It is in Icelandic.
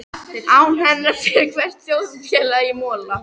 Án hennar fer hvert þjóðfélag í mola.